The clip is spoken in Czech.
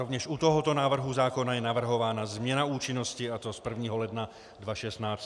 Rovněž u tohoto návrhu zákona je navrhována změna účinnosti, a to z 1. ledna 2016 na 1. července.